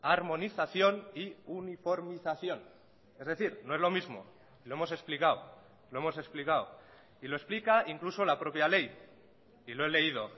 armonización y uniformización es decir no es lo mismo lo hemos explicado lo hemos explicado y lo explica incluso la propia ley y lo he leído